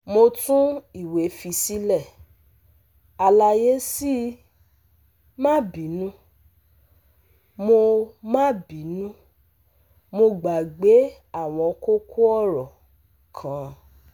Mo tun iwe fi sile, alaye sii, ma binu, mo ma binu, mo gbagbe awon koko oro kan